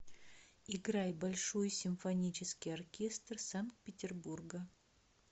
играй большой симфонический оркестр санкт петербурга